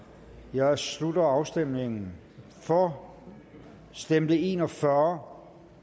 jeg slutter afstemningen for stemte en og fyrre